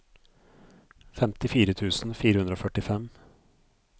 femtifire tusen fire hundre og førtifem